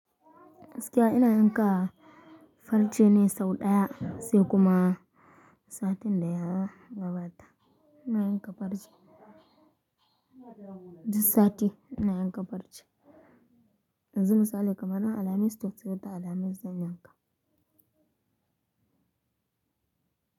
Gaskiya ina yanka farce na sau ɗaya sai kuma satin da ya gabata. Ina yanka farce. Duk sati ina yanka farci. Yanzu misali kamar rana alhamis, duk sallah ta alhamis zan yanka.